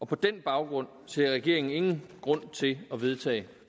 på den baggrund ser regeringen ingen grund til at vedtage